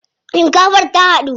Shinkafar ta dahu.